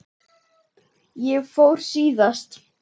Ég fór síðast.